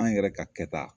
An yɛrɛ ka kɛta